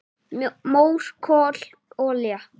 """Mór, kol, olía"""